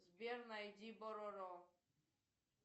сбер найди бороро